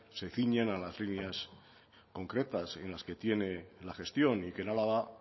se ciñen a las líneas concretas en las que tiene la gestión y que en álava